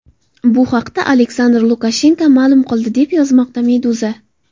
Bu haqda Aleksandr Lukashenko ma’lum qildi, deb yozmoqda Meduza.